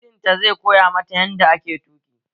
Mijin ta zai koya mata yanda ake tuƙi